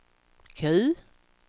Q